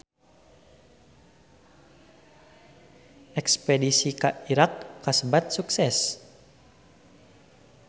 Espedisi ka Irak kasebat sukses